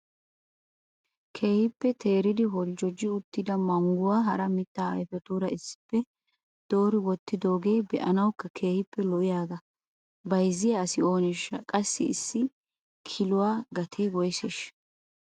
Keehippe teeridi holjjoji uttida mangguwa hara mitta ayfetuura issippe doori wottidooge be'anawukka keehippe lo"iyaaga bayzziya asi ooneshsha? Qassi issi kiluwaa gatee woyseshsha?